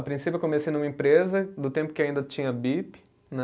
A princípio eu comecei numa empresa do tempo que ainda tinha bip, né?